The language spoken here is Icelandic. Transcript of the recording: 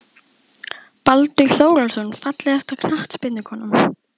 Baldur Þórólfsson Fallegasta knattspyrnukonan?